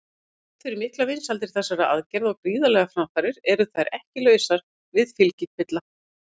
Þrátt fyrir miklar vinsældir þessara aðgerða og gríðarlegar framfarir eru þær ekki lausar við fylgikvilla.